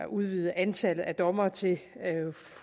udvide antallet af dommere til